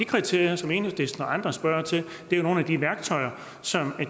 kriterier som enhedslisten og andre spørger til er jo nogle af de værktøjer som